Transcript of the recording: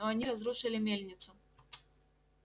но они разрушили мельницу